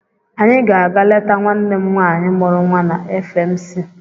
Anyị ga-aga leta nwanne m nwaanyị mụrụ nwa na FMC.